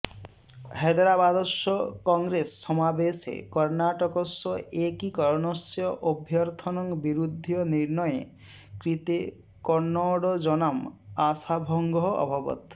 हैदराबादस्य कङ्ग्रेस् समावेशे कर्णाटकस्य एकीकरणस्य अभ्यर्थनं विरुध्य निर्णये कृते कन्नडजनाम् आशाभङ्गः अभवत्